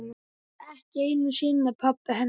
Ekki einu sinni pabbi hennar.